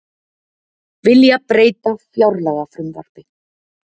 Vilja breyta fjárlagafrumvarpi